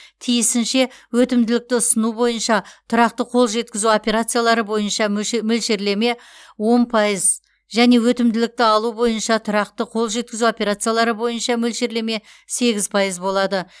тиісінше өтімділікті ұсыну бойынша тұрақты қол жеткізу операциялары бойынша мөлш мөлшерлеме он пайыз және өтімділікті алу бойынша тұрақты қол жеткізу операциялары бойынша мөлшерлеме сегіз пайыз болады